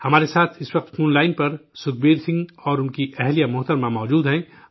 ہمارے ساتھ اس وقت فون لائن پر سکھبیر سنگھ اور ان کی بیوی موجود ہیں